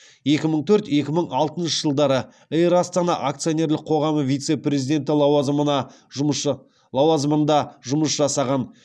екі мың төрт екі мың алтыншы жылдары эйр астана акционерлік қоғамы вице президенті лауазымында жұмыс жасаған